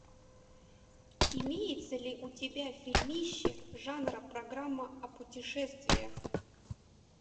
имеется ли у тебя фильмище жанра программа о путешествиях